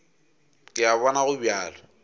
ke a bona go bjalo